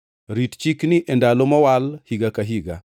Rit chikni e ndalo mowal higa ka higa.